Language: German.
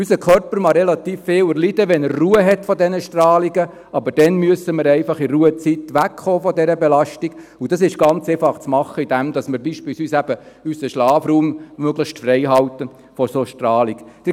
Unser Körper verträgt relativ viel, wenn er Ruhe vor diesen Strahlungen hat, aber dann müssen wir in der Ruhezeit einfach wegkommen von dieser Belastung, und das ist ganz einfach zu machen, indem wir beispielsweise unseren Schlafraum möglichst von solcher Strahlung freihalten.